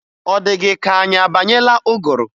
Ọ dị gị ka anyị abanyeela ụgụrụ?